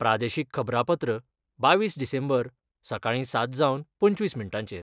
प्रादेशीक खबरांपत्र बावीस डिसेंबर, सकाळी सात जावन पंचवीस मिनटांचेर